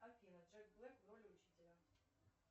афина джек блэк в роли учителя